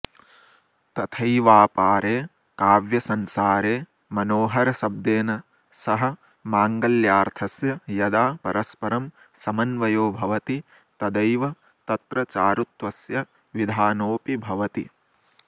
तथैवापारे काव्यसंसारे मनोहरशब्देन सह माङ्गल्यार्थस्य यदा परस्परं समन्वयो भवति तदैव तत्र चारुत्वस्य विधानोऽपि भवति